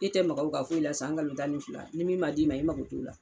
E tɛ mago ka foyi la san kalo tan ni fila ni min ma d'i ma e mago t'o la